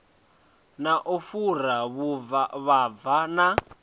na u fhura vhuvhava na